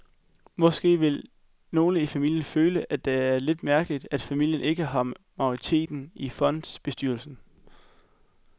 Måske vil nogle i familien føle, at det er lidt mærkeligt, at familien ikke har majoriteten i fondsbestyrelsen.